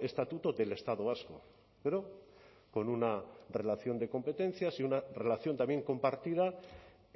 estatuto del estado vasco pero con una relación de competencias y una relación también compartida